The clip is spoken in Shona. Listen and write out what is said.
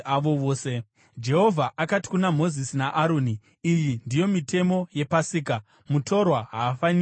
Jehovha akati kuna Mozisi naAroni, “Iyi ndiyo mitemo yePasika: “Mutorwa haafaniri kuidya.